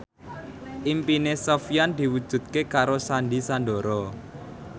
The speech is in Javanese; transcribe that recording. impine Sofyan diwujudke karo Sandy Sandoro